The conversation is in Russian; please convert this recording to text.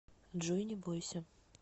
джой не бойся